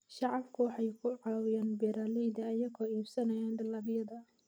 Shacabku waxay ku caawiyaan beeralayda iyagoo iibsanaya dalagyada.